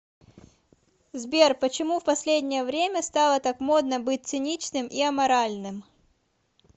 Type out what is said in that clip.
сбер почему в последнее время стало так модно быть циничным и аморальным